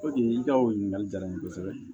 i ka o ɲininkali jara n ye kosɛbɛ